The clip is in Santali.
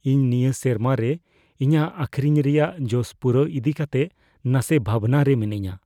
ᱤᱧ ᱱᱤᱭᱟᱹ ᱥᱮᱨᱢᱟ ᱨᱮ ᱤᱧᱟᱹᱜ ᱟᱹᱠᱷᱨᱤᱧ ᱨᱮᱭᱟᱜ ᱡᱚᱥ ᱯᱩᱨᱟᱹᱣ ᱤᱫᱤ ᱠᱟᱛᱮᱜ ᱱᱟᱥᱮ ᱵᱷᱟᱵᱽᱱᱟ ᱨᱮ ᱢᱤᱱᱟᱹᱧᱟ ᱾